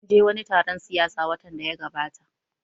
Mun je wani taron siyasa watan da ya gabata